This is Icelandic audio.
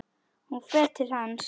Hún fer til hans.